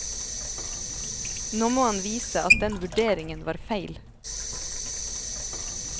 Nå må han vise at den vurderingen var feil.